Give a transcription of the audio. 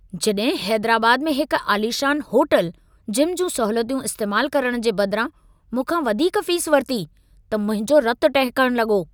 जॾहिं हैदराबाद में हिक आलीशान होटल, जिम जूं सहूलियतूं इस्तेमालु करण जे बदिरां मूंखां वधीक फ़ीस वरिती, त मुंहिंजो रतु टहिकण लॻो।